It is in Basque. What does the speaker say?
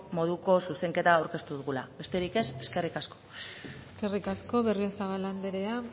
moduko zuzenketa aurkeztu dugula besterik ez eskerrik asko eskerrik asko berriozabal anderea